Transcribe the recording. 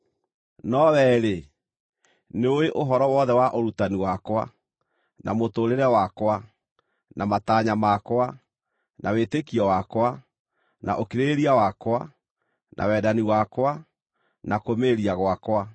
No wee-rĩ, nĩũĩ ũhoro wothe wa ũrutani wakwa, na mũtũũrĩre wakwa, na matanya makwa, na wĩtĩkio wakwa, na ũkirĩrĩria wakwa, na wendani wakwa, na kũũmĩrĩria gwakwa,